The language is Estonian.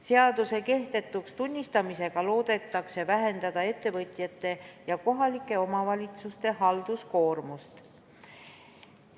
Seaduse kehtetuks tunnistamisega loodetakse vähendada ettevõtjate ja kohalike omavalitsuste halduskoormust.